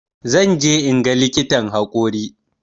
Zan je inga likitan haƙori